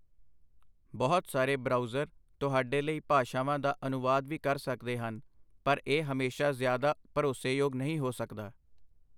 ਬਹੁਤ ਸਾਰੇ ਬਰਾਊਜ਼ਰ ਤੁਹਾਡੇ ਲਈ ਭਾਸ਼ਾਵਾਂ ਦਾ ਅਨੁਵਾਦ ਵੀ ਕਰ ਸਕਦੇ ਹਨ, ਪਰ ਇਹ ਹਮੇਸ਼ਾ ਜ਼ਿਆਦਾ ਭਰੋਸੇਯੋਗ ਨਹੀਂ ਹੋ ਸਕਦਾ।